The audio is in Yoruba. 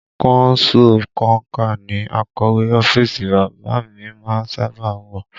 Kọnsú konkà ní akọ̀wé ọ́fíìsì bàbá a mi má ń sábà a wọ